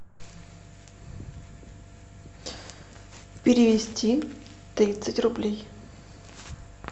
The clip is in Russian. перевести тридцать рублей